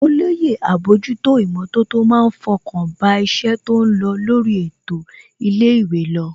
Olóyè àbójútó ìmọ̀tótó má ń fọkàn bá iṣẹ́ tó lọ lórí ètò ilé ìwé lọ